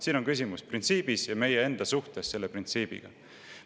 Siin on küsimus printsiibis ja meie enda suhtes selle printsiibiga.